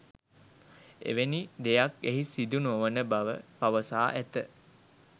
එවැනි දෙයක් එහි සිදුනොවන බව පවසා ඇත